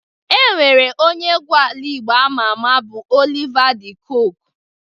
E nwere onye egwu ala Igbo ama ama bụ Oliva De Kokwe